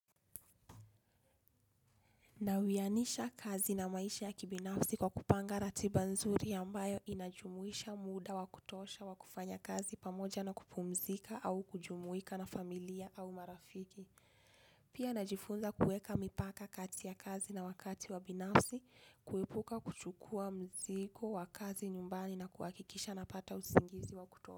Naoanisha kazi na maisha ya kibinafsi kwa kupanga ratiba nzuri ambayo inajumuisha muda wa kutosha wa kufanya kazi pamoja na kupumzika au kujumuika na familia au marafiki. Pia najifunza kuweka mipaka kati ya kazi na wakati wa binafsi kuepuka kuchukua mzigo wa kazi nyumbani na kuhakikisha napata usingizi wa.